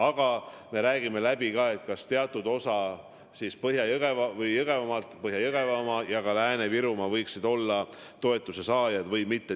Aga me arutame ka, kas teatud osa Põhja-Jõgevamaast ja Lääne-Virumaa võiksid samuti olla toetuse saajad või mitte.